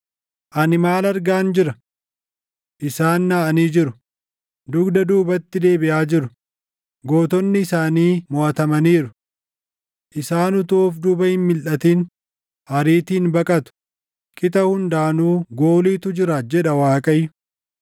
Ani maal argaan jira? Isaan naʼanii jiru; dugda duubatti deebiʼaa jiru; gootonni isaanii moʼatamaniiru. Isaan utuu of duuba hin milʼatin ariitiin baqatu; qixa hundaanuu gooliitu jira” jedha Waaqayyo.